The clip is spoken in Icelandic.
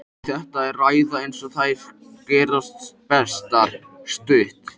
Og þetta er ræða eins og þær gerast bestar- stutt.